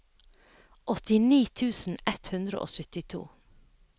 åttini tusen ett hundre og syttito